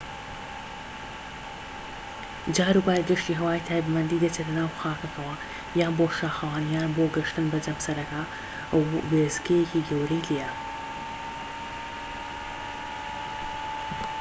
جاروبار گەشتی هەوایی تایبەتمەندی دەچێتە ناو خاکەکەوە یان بۆ شاخەوانی یان بۆ گەشتن بە جەمسەرەکە کە وێستگەیەکی گەورەی لێیە